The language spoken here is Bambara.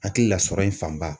Hakili la, sɔrɔ in fanba.